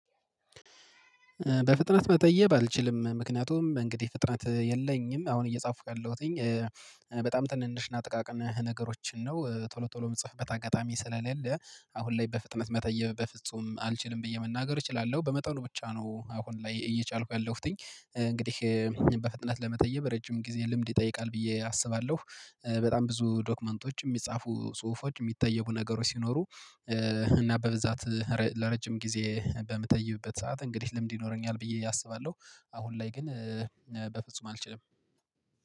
በፍጥነት መተየብ አልችልም ምክንያቱም እንግዲህ ፍጥነት የለኝም አሁን እየጻፍኩ ያለሁትኝ በጣም ትንንሽ እና ጥቃቅን ነገሮችን ነው ቶሎ ቶሎ የምጽፍበት አጋጣሚ ስለሌለ። አሁን ላይ በፍጥነት መተየብ በፍጹም አልችልም ብየ መናገር እችላለሁ በመጠኑ ብቻ ነው። አሁን ላይ እየቻልኩ ያለሁትኝ እንግዲህ በፍጥነት ለመተየብ ረጅም ጊዜ ልምድ ይጠይቃል ብዬ አስባለሁ። በጣም ብዙ ዶክመንቶች የሚጻፉ ጽሁፎች የሚተየቡ ነገሩ ሲኖሩ። እና በብዛት ረ ለረጅም ጊዜ በምተይብበት ሰዓት እንግዲህ ልምድ ይኖረኛል ብዬ አስባለሁ። አሁን ላይ ግን በፍጹም አልችልም